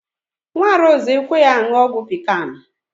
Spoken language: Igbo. Nwa Rose ekweghi aṅụ ọgwụ pikan